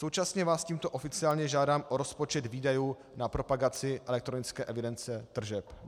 Současně vás tímto oficiálně žádám o rozpočet výdajů na propagaci elektronické evidence tržeb.